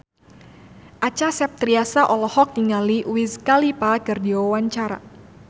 Acha Septriasa olohok ningali Wiz Khalifa keur diwawancara